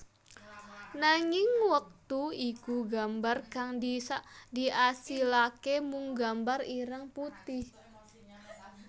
Nanging wektu iku gambar kang diasilake mung gambar ireng putih